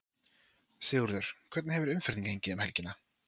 Sigurður, hvernig hefur umferðin gengið um helgina?